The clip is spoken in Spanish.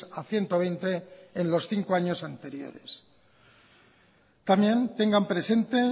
a ciento veinte en los cinco años anteriores también tengan presente